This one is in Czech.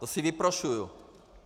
To si vyprošuji!